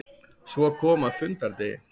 Svo kom að fundardegi.